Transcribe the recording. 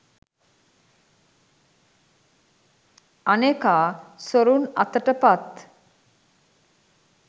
අනෙකා සොරුන් අතට පත්